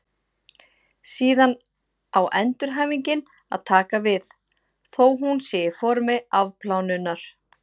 Síðan á endurhæfingin að taka við, þó hún sé í formi afplánunar.